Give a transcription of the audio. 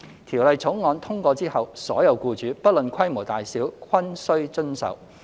《條例草案》通過後，所有僱主，不論規模大小，均須遵守。